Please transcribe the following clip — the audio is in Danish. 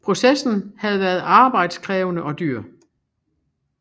Processen havde været arbejdskrævende og dyr